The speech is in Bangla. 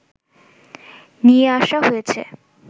নিয়ে আসা হয়েছে